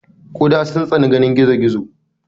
guda sun tsani ganin gizo gizo.